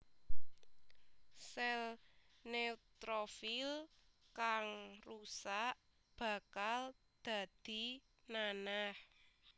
Sèl neutrofil kang rusak bakal dadi nanah